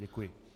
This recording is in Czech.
Děkuji.